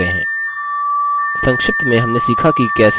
संक्षिप्त में हमने सीखा की कैसे: